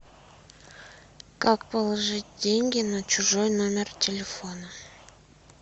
как положить деньги на чужой номер телефона